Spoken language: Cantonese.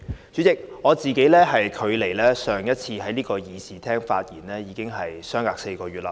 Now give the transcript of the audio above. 主席，我上次在這個議事廳發言至今，已經4個月。